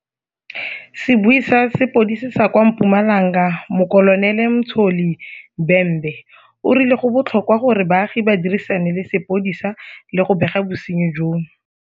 Sebui sa sepodisi sa kwa Mpumalanga Mokolonele Mtsholi Bhembe o rile go botlhokwa gore baagi ba dirisane le sepodisi le go bega bosenyi jono.